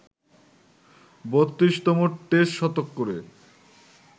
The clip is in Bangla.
৩২তম টেস্ট শতক করে